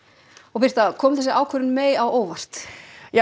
birta kom þessi ákvörðun á óvart já